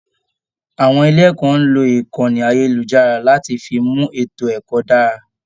Àwọn ilé ẹkọ n lo ìkànnì ayelujara láti fí mú ètò ẹkọ dára.